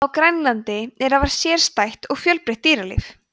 á grænlandi er afar sérstætt og fjölbreytt dýralíf